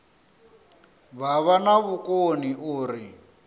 vha vha na vhukoni uri